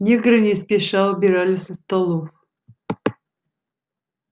негры не спеша убирали со столов